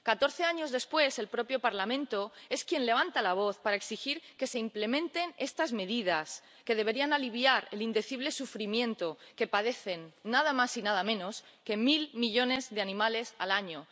Catorce años después, el propio Parlamento es quien levanta la voz para exigir que se implementen estas medidas, que deberían aliviar el indecible sufrimiento que padecen nada más y nada menos que mil millones de animales al año.